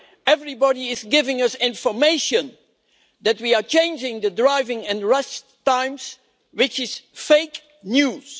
Everybody is giving us information that we are changing the driving and rest times, which is fake news.